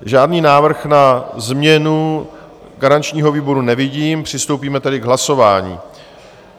Žádný návrh na změnu garančního výboru nevidím, přistoupíme tedy k hlasování.